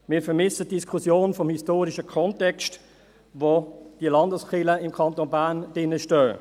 Wir vermissen die Diskussion über den historischen Kontext, in welchem die Landeskirchen im Kanton Bern stehen.